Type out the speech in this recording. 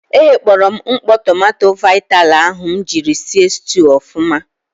E ghekpọrọ m mkpọ tomanto vitali ahụ m jiri si stuu ọfụma.